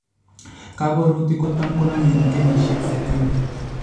Kaborutik kotam konomee eng' kenyisiek sitini